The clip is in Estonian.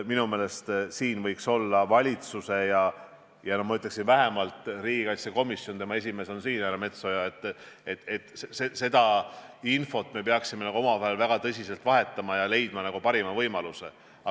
Minu meelest valitsus ja vähemalt riigikaitsekomisjon – selle esimees härra Metsoja on siin – peaks seda infot omavahel väga tõsiselt vahetama ja leidma parima võimaluse.